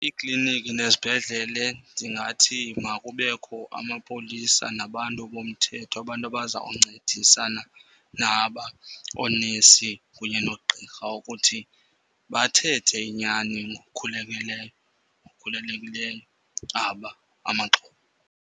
Iikliniki nezibhedlele ndingathi makubekho amapolisa nabantu bomthetho. Abantu abazawuncedisana naba oonesi kunye noogqirha ukuthi bathethe inyani ngokukhulekileyo, ngokukhulelekileyo aba amaxhoba.